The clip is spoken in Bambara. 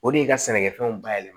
O de ye ka sɛnɛkɛfɛnw bayɛlɛma